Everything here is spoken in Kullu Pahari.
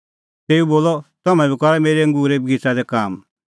तेऊ बोलअ तम्हैं बी करा मेरै अंगूरे बगिच़ै दी काम